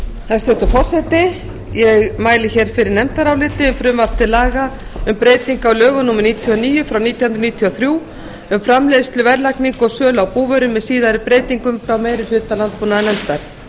hæstvirtur forseti ég mæli fyrir nefndaráliti um frumvarp til laga um breytingu á lögum númer níutíu og níu nítján hundruð níutíu og þrjú um framleiðslu verðlagningu og sölu á búvörum með síðari breytingum frá meiri hluta landbúnaðarnefndar